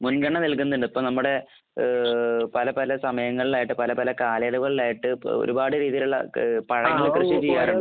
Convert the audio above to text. മുൻഗണന നൽകുന്നുണ്ട്. ഇപ്പോൾ നമ്മുടെ ഏഹ് പല പല സമയങ്ങളിലായിട്ട് പല പല കാലങ്ങളിലായിട്ട് ഒരുപാട് രീതിയിലുള്ള ഏഹ് പഴങ്ങളൊക്കെ കൃഷി ചെയ്യാറുണ്ട്.